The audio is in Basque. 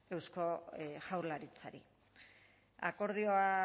eusko jaurlaritzari akordioa